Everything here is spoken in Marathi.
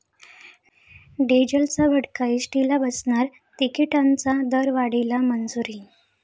डिझेलचा भडका एसटीला बसणार, तिकिटांच्या दरवाढीला मंजुरी